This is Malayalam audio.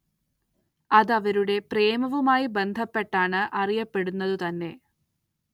അത് അവരുടെ പ്രേമവുമായി ബന്ധപ്പെട്ടാണ്‌ അറിയപ്പെടുന്നതു തന്നെ.